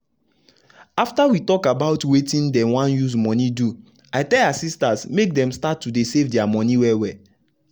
after we talk about wetin dem wan use monie do i tell her sistas make dem start to save dia monie well well.